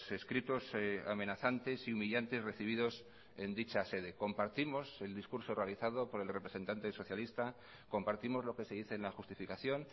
escritos amenazantes y humillantes recibidos en dicha sede compartimos el discurso realizado por el representante socialista compartimos lo que se dice en la justificación